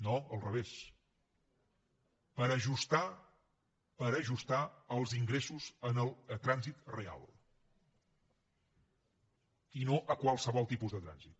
no al revés per ajustar per ajustar els ingressos al trànsit real i no a qualsevol tipus de trànsit